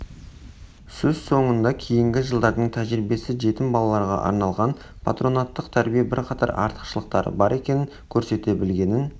сөз соңында кейінгі жылдардың тәжірибесі жетім балаларға арналған патронаттық тәрбие бірқатар артықшылықтары бар екенін көрсете білгенін